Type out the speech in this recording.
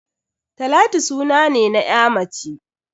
Talatu suna ne na ya mace.